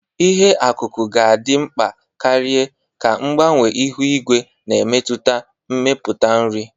Ihe ọkụkụ ga-adị mkpa karịa ka mgbanwe ihu igwe na-emetụta mmepụta nri.